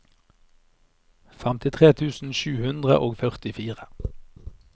femtitre tusen sju hundre og førtifire